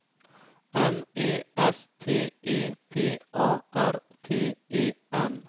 M E S T E P A R T E N